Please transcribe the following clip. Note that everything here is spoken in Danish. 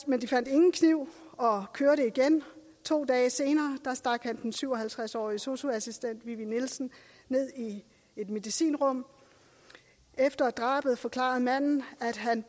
men de fandt ingen kniv og kørte igen to dage senere stak han den syv og halvtreds årige sosu assistent vivi nielsen ned i et medicinrum efter drabet forklarede manden at han